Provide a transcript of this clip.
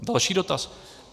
Další dotaz.